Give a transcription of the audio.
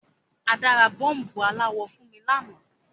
Ada ra bọ́ọ̀bù aláwọ̀ fun mi lanáà